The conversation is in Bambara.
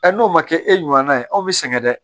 n'o ma kɛ e ɲumanna ye anw bi sɛgɛn dɛ